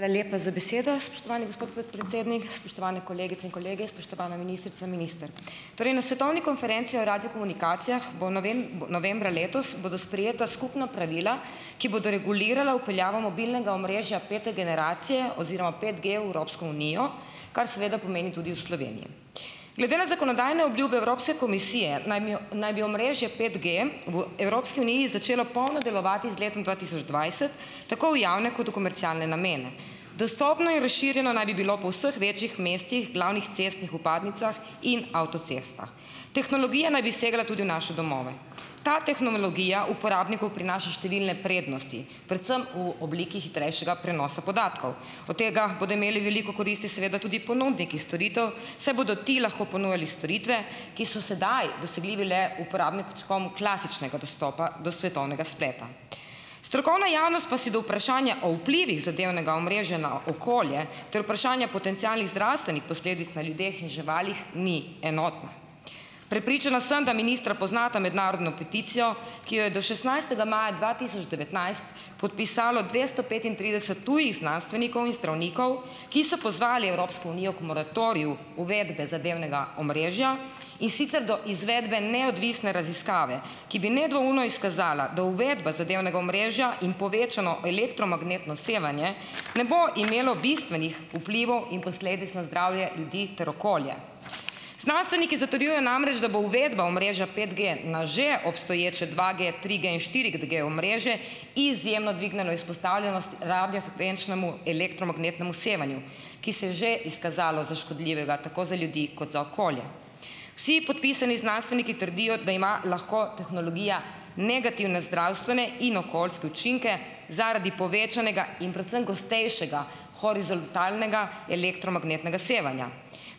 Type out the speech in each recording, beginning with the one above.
Hvala lepa za besedo, spoštovani gospod podpredsednik. Spoštovane kolegice in kolegi, spoštovana ministrica, minister! Torej na svetovni konferenci o radiokomunikacijah bo novembra letos bodo sprejeta skupna pravila, ki bodo regulirala vpeljavo mobilnega omrežja pete generacije oziroma petG v unijo, kar seveda pomeni tudi v Glede na zakonodajne obljube Evropske komisije naj mi naj bi omrežje petG v Evropski uniji začelo polno delovati z letom dva tisoč dvajset, tako v javne kot v komercialne namene. Dostopno in razširjeno naj bi bilo po vseh večjih mestih, glavnih cestnih vpadnicah in Tehnologija naj bi segala tudi v naše domove. Ta tehnologija uporabniku prinaša številne prednosti, predvsem v obliki hitrejšega prenosa podatkov. Od tega bodo imeli veliko koristi seveda tudi ponudniki storitev, saj bodo ti lahko ponujali storitve, ki so sedaj dosegljivi le uporabnikom klasičnega dostopa do svetovnega spleta. Strokovna javnost pa si do vprašanja o vplivih zadevnega omrežja na okolje ter vprašanje potencialnih zdravstvenih posledic na ljudeh in živalih ni enotna. Prepričana sem, da ministra poznata mednarodno peticijo, ki jo je do šestnajstega maja dva tisoč devetnajst, podpisalo dvesto petintrideset tujih znanstvenikov in zdravnikov, ki so pozvali Evropsko unijo k moratoriju uvedbe zadevnega omrežja, in sicer do izvedbe neodvisne raziskave, ki bi nedvoumno izkazala, da uvedba zadevnega omrežja in povečano elektromagnetno sevanje ne bo imelo bistvenih vplivov in posledic na zdravje ljudi ter okolja. Znanstveniki zatrjujejo namreč, da bo uvedba omrežja petG na že obstoječe dvaG-, triG- in štiriG-omrežje izjemno dvignilo izpostavljenost radiofrekvenčnemu elektromagnetnemu sevanju, ki se je že izkazalo za škodljivega tako za ljudi kot za okolje. Vsi podpisani znanstveniki trdijo, da ima lahko tehnologija negativne zdravstvene in okoljske učinke zaradi povečanega in predvsem gostejšega horizontalnega elektromagnetnega sevanja.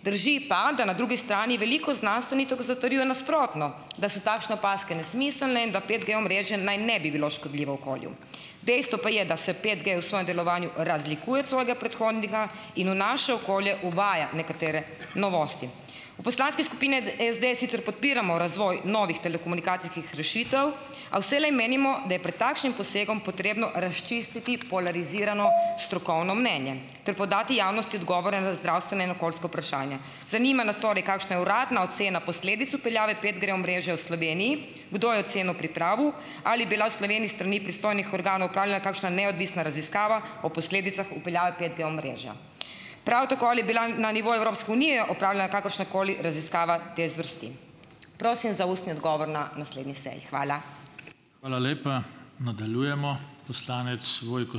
Drži pa, da na drugi strani veliko znanstvenikov zatrjuje nasprotno, da so takšne opazke nesmiselne in da petG-omrežje naj ne bi bilo škodljivo okolju. Dejstvo pa je, da se petG v svojem delovanju razlikuje od svojega predhodnika in v naše okolje uvaja nekatere novosti. V poslanski skupini SD sicer podpiramo razvoj novih telekomunikacijskih rešitev, a vselej menimo, da je pred takšnim posegom potrebno razčistiti polarizirano strokovno mnenje ter podati javnosti odgovore na zdravstvena in okoljska vprašanja. Zanima nas torej, kakšna je uradna ocena posledic vpeljave petG-omrežja v Sloveniji? Kdo je oceno pripravil? Ali bila v Sloveniji s strani pristojnih organov opravljena kakšna neodvisna raziskava, o posledicah vpeljave petG-omrežja? Prav tako, ali bila na nivoju Evropske unije opravljena kakršnakoli raziskava te zvrsti? Prosim za ustni odgovor na naslednji seji. Hvala. Hvala lepa. Nadaljujemo. Poslanec Vojko ...